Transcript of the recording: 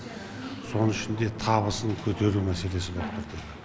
соның ішінде табысын көтеру мәселесі болып тұр